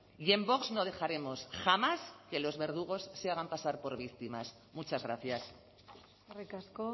y en vox no dejaremos jamás que los verdugos se hagan pasar por víctimas muchas gracias eskerrik asko